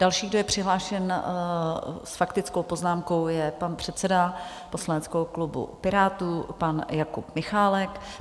Další, kdo je přihlášen s faktickou poznámkou, je pan předseda poslaneckého klubu Pirátů pan Jakub Michálek.